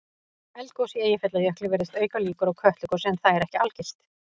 Eldgos í Eyjafjallajökli virðist auka líkur á Kötlugosi en það er ekki algilt.